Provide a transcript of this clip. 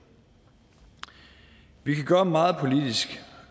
vi kan gøre meget politisk